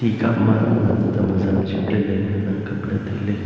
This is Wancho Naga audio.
ekhama nam tam ajam jipley ley ngan am kap ley tailey.